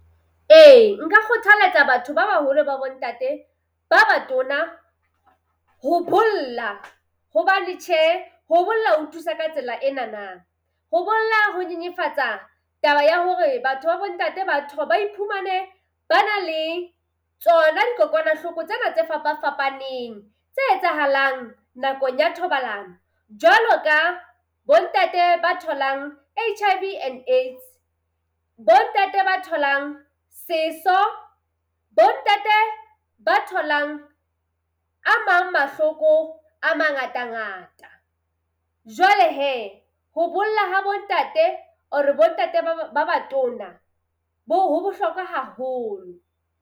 Ee, nka kgothaletsa batho ba baholo ba bo ntate ba batona ho bolla. Hobane tjhe ho bolla ho thusa ka tsela enana. Ho bolla ho nyenyefatsa taba ya hore batho ba bo ntate batho ba ba iphumane ba na le tsona dikokwanahloko tsena tse fapafapaneng tse etsahalang nakong ya thobalano. Jwalo ka bo ntate ba tholang HIV and AIDS, bo ntate ba tholang seso, bo ntate ba tholang a mang mahloko a mangata ngata. Jwale hee ho bolla ha bo ntate or-re bo ntate ba ba ba batona bo ho bohlokwa haholo.